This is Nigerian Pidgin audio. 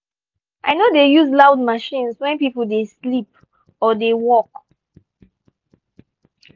i no dey use loud machines when pipo dey sleep or dey work.